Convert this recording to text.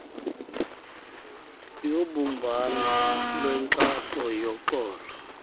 yobumbano lwenkxaso yoxolo